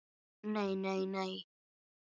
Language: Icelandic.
NEI, NEI, NEI.